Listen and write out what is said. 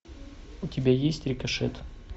у тебя есть рикошет